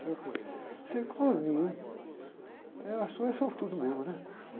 Será que eu... Eu, eh, sou é sortudo mesmo, né?